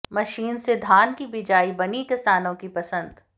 machine से धान की बिजाई बनी किसानों की पसंद